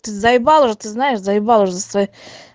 ты заебал уже ты знаешь заебал уже со своей